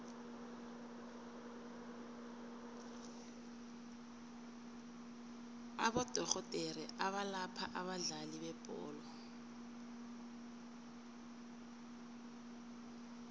abodorhodere abalapha abadlali bebholo